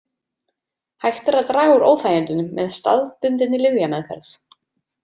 Hægt er að draga úr óþægindunum með staðbundinni lyfjameðferð.